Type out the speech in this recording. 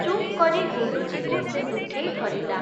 ଚୁପ୍‌କରି ଗୁଣ୍ଡୁଚିକୁ ସେ ମୁଠେଇ ଧରିଲା ।